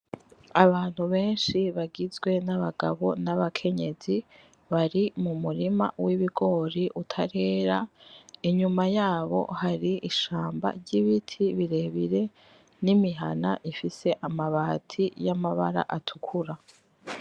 Abantu benshi bagizwe n'Abagabo n'Abakenyezi bari m'Umurima w'Ibigori utarera. Inyuma yabo hari ishamba ry'Ibiti birebire n'imihana ifise amabati yamabara atukura.